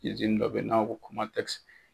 dɔ bɛ ye n'a m'a fɔ ko COMATEX.